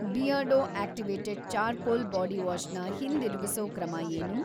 Beardo activated charcoal bodywash ನ ಹಿಂದಿರುಗಿಸೋ ಕ್ರಮ ಏನು?